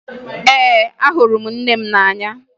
Ee, ahụrụ m nne m n'anya